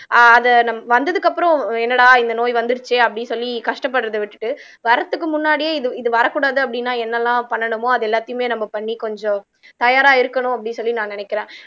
ஆஹ் அத வந்ததுக்கு அப்புறம் என்னடா இந்த நோய் வந்துருச்சே அப்படின்னு சொல்லி கஷ்டப்படுறதை விட்டுட்டு வர்றதுக்கு முன்னாடியே இது இது வரக் கூடாது அப்படின்னா என்னெல்லாம் பண்ணணுமோ அதை எல்லாத்தையுமே நம்ம பண்ணி கொஞ்சம் தயாரா இருக்கணும் அப்படீன்னு சொல்லி நான் நினைக்கிறேன்